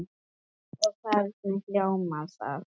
Og hvernig hljómar það?